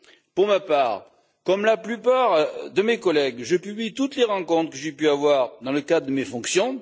Pour ma part, comme la plupart de mes collègues, je publie toutes les rencontres que j'ai pu avoir dans le cadre de mes fonctions.